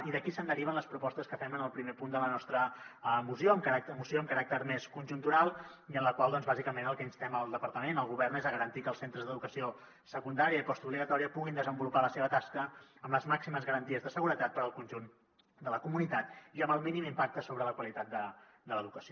i d’aquí se’n deriven les propostes que fem en el primer punt de la nostra moció amb caràcter més conjuntural i en la qual doncs bàsicament al que instem el departament el govern és a garantir que els centres d’educació secundària i postobligatòria puguin desenvolupar la seva tasca amb les màximes garanties de seguretat per al conjunt de la comunitat i amb el mínim impacte sobre la qualitat de l’educació